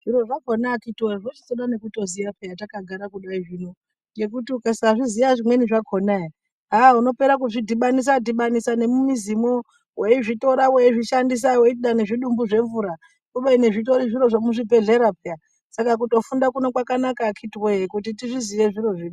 Zviro zvakhona akhithi woyee zvechitoda nekutoziya peyaa takagara kudai zvino. Ngekuti ukasazviziya zvimweni zvakhona ee haah unopera kuzvidhibanisa dhibanisa nemumizimwo. Weizvitora weizvishandisa weiti dai zvidumbu zvemvura, kubeni zvitori zvemuzvibhendlera peyaa. Saka kutofunda kuno kwakanaka akhithi woyee kuti tizviziye zviro zvino.